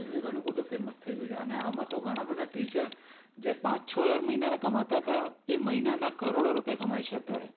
એ ભી ઘણું બધું famous થઈ ગયું છે અને આમાં તો ઘણાં બધાં teacher જે પાંચ છ હજાર મહિનાના કમાતા તા એ મહિનાના કરોડો રૂપિયા કમાઈ છે અત્યારે.